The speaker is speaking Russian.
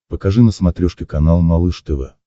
покажи на смотрешке канал малыш тв